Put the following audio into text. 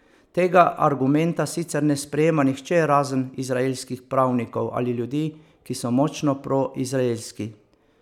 Tega argumenta sicer ne sprejema nihče razen izraelskih pravnikov ali ljudi, ki so močno proizraelski.